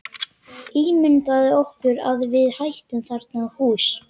Ímyndað okkur að við ættum þarna hús.